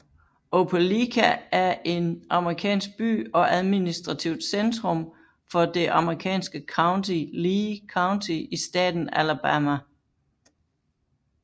Opelika er en amerikansk by og administrativt centrum for det amerikanske county Lee County i staten Alabama